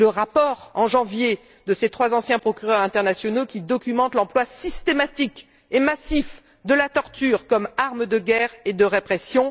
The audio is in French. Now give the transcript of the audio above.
Le rapport en janvier de trois anciens procureurs internationaux documente l'emploi systématique et massif de la torture comme arme de guerre et de répression.